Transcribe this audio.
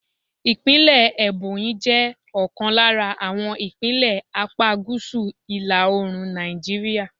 Ìpínlẹ̀ Ebonyi jẹ́ ọ̀kan lára àwọn ìpínlẹ̀ apá gúúsù ìlà Òòrùn Nàìjíríà.